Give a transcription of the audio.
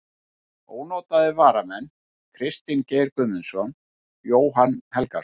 Ónotaðir varamenn: Kristinn Geir Guðmundsson, Jóhann Helgason.